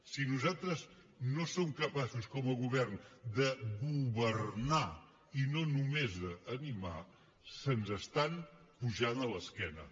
si nosaltres no som capaços com a govern de governarnomés animar se’ns estan pujant a l’esquena